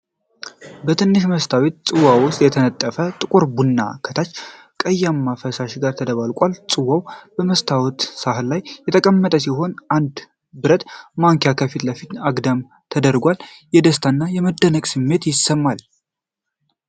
በትንሽ የመስታወት ጽዋ ውስጥ የተነጠፈ ጥቁር ቡና ከታች ቀይማማ ፈሳሽ ጋር ተደርቧል። ጽዋው በመስታወት ሳህን ላይ የተቀመጠ ሲሆን፣ አንድ የብረት ማንኪያ ከፊት ለፊቱ አግድም ተደርጎበታል። የደስታና የመደነቅ ስሜት ይሰማል።